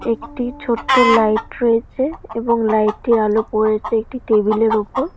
একটি ছোট লাইট রয়েছে এবং লাইট এর আলো পড়েছে একটি টেবিল এর ওপর।